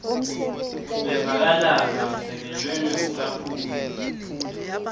levakalako lesekelwe ngekucaphuna